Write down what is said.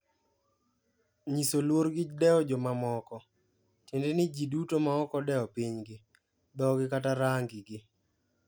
"Nyiso luor gi dewo jomamoko" tiende ni jiduto ma oko dewo piny gi, dhogi kata rangi gi.